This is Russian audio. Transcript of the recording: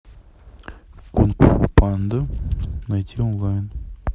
кунг фу панда найти онлайн